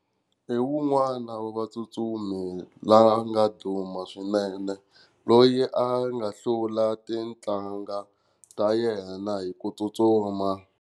Hi un'wana wa vatsutsumi la nga duma swinene loyi a nga hlula titlanga ta yena hi ku tsutsuma.